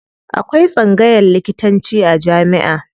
Akwai tsangayan likitanci a jamiʼa.